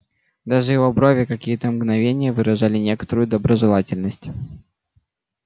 даже его брови какие-то мгновения выражали некоторую доброжелательность